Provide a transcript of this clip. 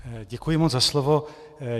Děkuji moc za slovo.